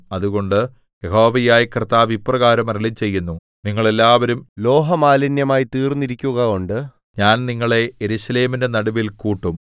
അതുകൊണ്ട് യഹോവയായ കർത്താവ് ഇപ്രകാരം അരുളിച്ചെയ്യുന്നു നിങ്ങൾ എല്ലാവരും ലോഹമാലിന്യമായിത്തീർന്നിരിക്കുകകൊണ്ട് ഞാൻ നിങ്ങളെ യെരൂശലേമിന്റെ നടുവിൽ കൂട്ടും